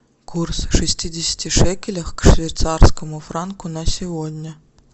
курс шестидесяти шекелей к швейцарскому франку на сегодня